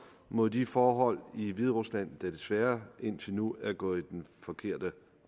mod de forhold i hviderusland der desværre indtil nu er gået i den forkerte